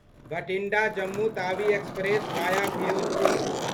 Bathinda Jammu Tawi express via Firozpur